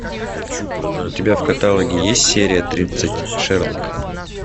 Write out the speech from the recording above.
у тебя в каталоге есть серия тридцать шерлок